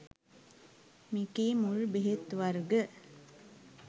මෙකී මුල් බෙහෙත් වර්ග